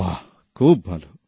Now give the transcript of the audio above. বাহ খুব ভালো